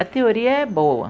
A teoria é boa.